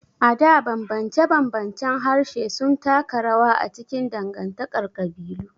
A da, ɓamɓance-ɓamɓancen harshe sun taka rawa a cikin dangantakar kabilu.